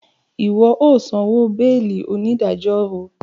Iwọ o sanwó beeli! onidajọ sọ